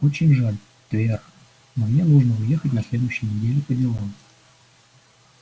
очень жаль твер но мне нужно уехать на следующей неделе по делам